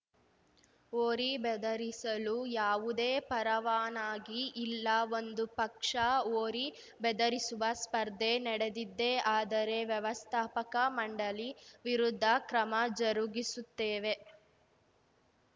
ಹೋರಿ ಬೆದರಿಸಲು ಯಾವುದೇ ಪರವಾನಗಿ ಇಲ್ಲ ಒಂದು ಪಕ್ಷ ಹೋರಿ ಬೆದರಿಸುವ ಸ್ಪರ್ಧೆ ನಡೆದಿದ್ದೇ ಆದರೆ ವ್ಯವಸ್ಥಾಪಕ ಮಂಡಳಿ ವಿರುದ್ಧ ಕ್ರಮ ಜರುಗಿಸುತ್ತೇವೆ